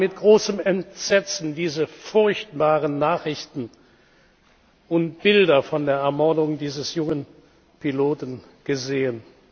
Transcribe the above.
Wir haben mit großem Entsetzen diese furchtbaren Nachrichten und Bilder von der Ermordung dieses jungen Piloten gesehen.